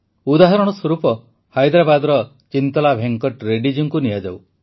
ଉଦାହରଣ ସ୍ୱରୂପ ହାଇଦରାବାଦର ଚିନ୍ତଲା ଭେଙ୍କଟ ରେଡ୍ଡୀ ଜୀଙ୍କୁ ନିଆଯାଉ